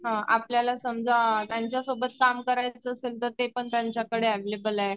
अ आपल्याला समजा यांच्या सोबत काम करायचं असेल तर ते पण त्यांच्याकडे अवैलेबल आहे.